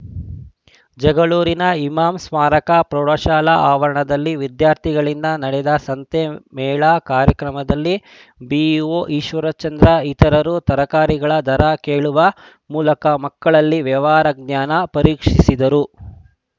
ಜಗಳೂರಿನ ಇಮಾಂ ಸ್ಮಾರಕ ಪ್ರೌಢಶಾಲಾ ಆವರಣದಲ್ಲಿ ವಿದ್ಯಾರ್ಥಿಗಳಿಂದ ನಡೆದ ಸಂತೆ ಮೇಳ ಕಾರ್ಯಕ್ರಮದಲ್ಲಿ ಬಿಇಒ ಈಶ್ವರಚಂದ್ರ ಇತರರು ತರಕಾರಿಗಳ ದರ ಕೇಳುವ ಮೂಲಕ ಮಕ್ಕಳಲ್ಲಿ ವ್ಯವಹಾರ ಜ್ಞಾನ ಪರೀಕ್ಷಿಸಿದರು